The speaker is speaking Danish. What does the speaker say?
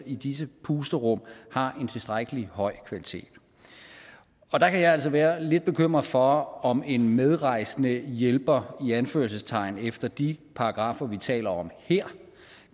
i disse pusterum har en tilstrækkelig høj kvalitet og der kan jeg altså være lidt bekymret for om en medrejsende hjælper i anførselstegn efter de paragraffer vi taler om her